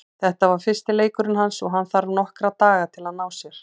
Þetta var fyrsti leikurinn hans og hann þarf nokkra daga til að ná sér.